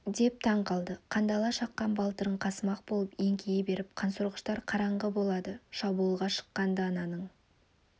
деп таң қалды қандала шаққан балтырын қасымақ болып еңкейе беріп қансорғыштар қараңғы болды шабуылға шыққан-ды ананың